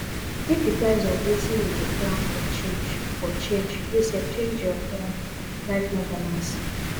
if di price of wetin you dey plan for change for change you sef change your plan life no balance